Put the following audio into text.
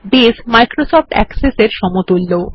base Microsoft Access এর সমতুল্য